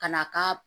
Ka na k'a